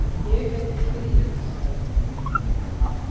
Ég heiti Kiljan, sagði hann.